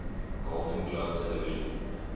golden globe television